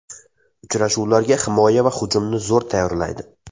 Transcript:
Uchrashuvlarga himoya va hujumni zo‘r tayyorlaydi.